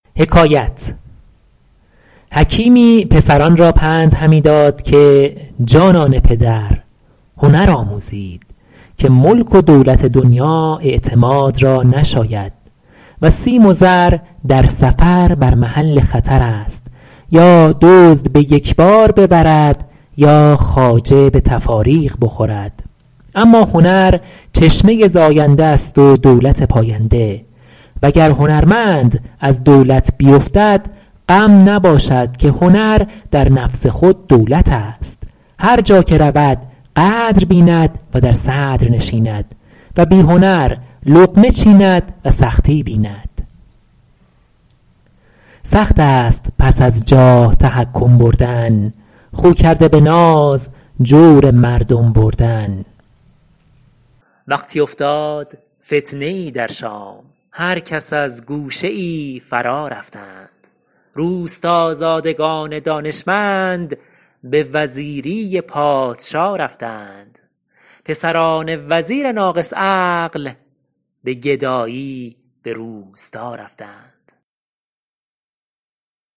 حکیمی پسران را پند همی داد که جانان پدر هنر آموزید که ملک و دولت دنیا اعتماد را نشاید و سیم و زر در سفر بر محل خطر است یا دزد به یک بار ببرد یا خواجه به تفاریق بخورد اما هنر چشمه زاینده است و دولت پاینده وگر هنرمند از دولت بیفتد غم نباشد که هنر در نفس خود دولت است هر جا که رود قدر بیند و در صدر نشیند و بی هنر لقمه چیند و سختی بیند سخت است پس از جاه تحکم بردن خو کرده به ناز جور مردم بردن وقتی افتاد فتنه ای در شام هر کس از گوشه ای فرا رفتند روستازادگان دانشمند به وزیری پادشا رفتند پسران وزیر ناقص عقل به گدایی به روستا رفتند